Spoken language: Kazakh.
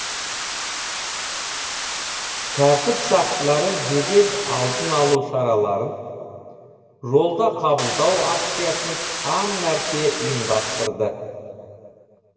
тәртіп сақшылары жедел алдын алу шараларын жолда қабылдау акциясын сан мәрте ұйымдастырды